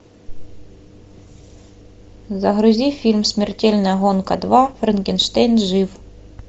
загрузи фильм смертельная гонка два франкенштейн жив